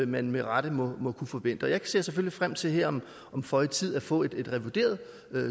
man med rette må må kunne forvente jeg ser selvfølgelig frem til her om føje tid at få et revideret